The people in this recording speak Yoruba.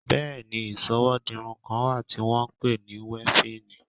Bẹẹ ni Ìsọwọ́ dirun kan wà tí wọ́n ń pè ní wéfìnì